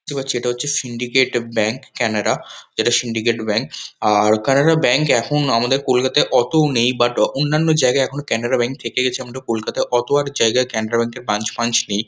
দেখতে পাচ্ছি এটা হচ্ছে সিন্ডিকেট ব্যাঙ্ক ক্যানাডা । যেটা সিন্ডিকেট ব্যাঙ্ক আর কানাডা ব্যাঙ্ক এখন আমাদের কলকাতায় অতও নেই। বাট আ অন্যান্য জায়গায় এখনো ক্যানাডা ব্যাঙ্ক থেকে গেছে। আমরা কলকাতায় অত আর জায়গায় ক্যানাডা ব্যাঙ্ক -এর ব্রাঞ্চ ফ্রাঞ্চ নেই।